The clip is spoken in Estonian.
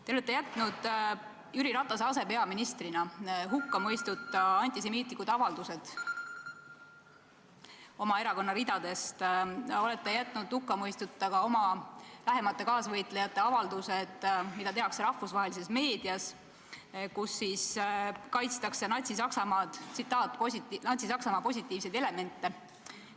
Te olete jätnud Jüri Ratase asepeaministrina hukkamõistuta teie erakonna ridadest tulnud antisemiitlikud avaldused, olete jätnud hukkamõistuta ka oma lähemate kaasvõitlejate avaldused, mida tehakse rahvusvahelises meedias, kus kaitstakse "Natsi-Saksamaa positiivseid elemente".